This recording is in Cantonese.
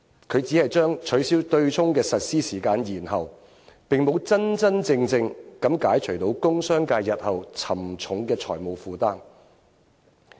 他只是將取消對沖的實施時間延後，並沒有真正解除工商界日後沉重的財務負擔。